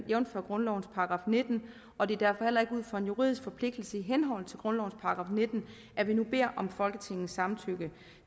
jævnfør grundlovens § nitten og det er derfor heller ikke ud fra en juridisk forpligtelse i henhold til grundlovens § nitten at vi nu beder om folketingets samtykke